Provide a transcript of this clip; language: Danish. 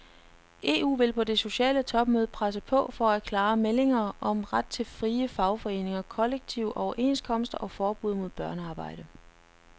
EU vil på det sociale topmøde presse på for klare meldinger om ret til frie fagforeninger, kollektive overenskomster og forbud mod børnearbejde.